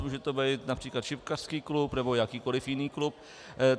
Může to být například šipkařský klub nebo jakýkoliv jiný klub.